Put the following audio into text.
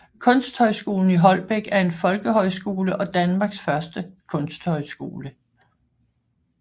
Kunsthøjskolen i Holbæk er en folkehøjskole og Danmarks første kunsthøjskole